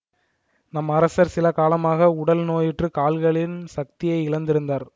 நம் அரசர் சில காலமாக உடல் நோயுற்றுக் கால்களின் சக்தியை இழந்திருந்தார்